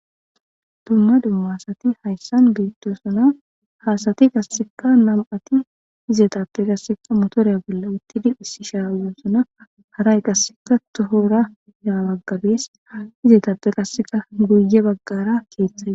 dumma dummasati hayssan geetto suna haasati gasseka nam7ati zeetape qasseka motooriya bolle uttidi issi shaawu suna haray qasseka tohora yawaggabees zeetape qasseka guye baggara keeththaye